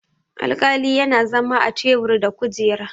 alƙali yana zama a tebur da kujera